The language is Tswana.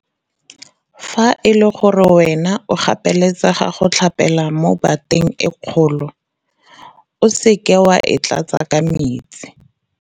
Fa e le gore wena o gapeletsega go tlhapela mo bateng e kgolo, o seke wa e tlatsa ka metsi.